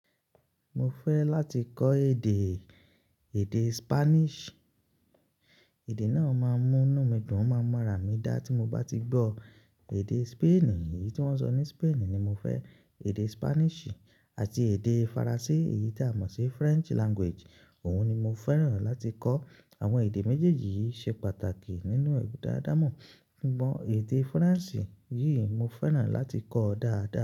Mo fẹ́ láti kọ́ èdè, èdè Spanish. Èdè náà máa mú inu mi dùn, máa mu ara mi dá tí mo bá ti gbọ́ èdè Spain, èyí tí wọ́n ń sọ ní Spain ni mo fẹ́. Èdè Spanish àti èdè Faransé, èyí tí a mọ̀ sí French language, òun ni mo fẹ́ràn láti kọ́. Àwọn èdè méjèèjì yìí ṣe pàtàkì nínú èbúda àdámọ́. A mon èdè Faransé yìí mo fẹ́ràn láti kọ́ dáadáa.